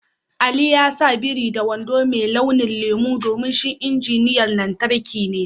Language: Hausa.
Ali ya sa biri da wando mai launin lemu domin shi injiniyan lantarki ne.